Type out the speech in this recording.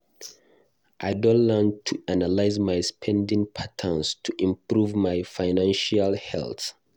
I don learn to analyze my spending patterns to improve my financial health.